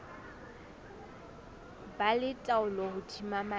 ba le taolo hodima maemo